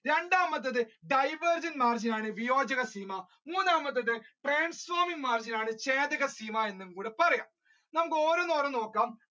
രണ്ടാമത് divergent margin ആണ് വിയോജന മൂന്നാമത്തത് transforming margin ആണ് നമ്മുക്ക് ഓരോന്ന് ഓരോന്ന് നോക്കാം